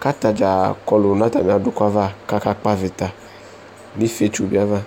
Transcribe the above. kʋ ata dza kɔlʋ nʋ atamɩ adʋkʋ ava kʋ akakpɔ avɩta nʋ ifietso bɩ ava